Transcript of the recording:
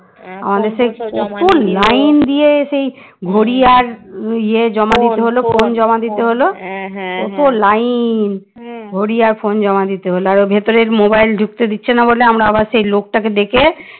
ঘড়ি আর ইয়ে জমা দিতে হল phone জমা দিতে হল কত line ঘড়ি আর phone জমা দিতে হল আর ভেতরের mobile ঢুকতে দিচ্ছে না বলে আমরা আবার সেই লোকটাকে ডেকে